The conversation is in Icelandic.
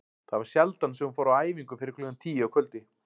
Það var sjaldan sem hún fór á æfingu fyrir klukkan tíu að kvöldi.